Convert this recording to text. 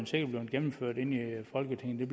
sikkert blevet gennemført i folketinget men